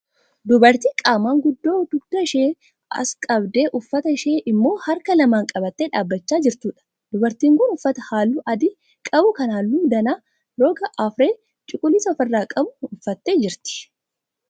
Dubartii qaamaan guddoo dugda ishee as qabdee uffata ishee immoo harka lamaan qabattee dhaabbachaa jirtuudha. Dubartiin kun uffata halluu adii qabu kan halluu danaa roga arfee cuquliisa ofi irraa qabu uffattee jirti